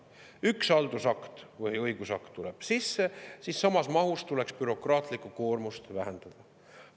Kui üks haldusakt või õigusakt tuleb, siis samas mahus tuleks bürokraatlikku koormust vähendada.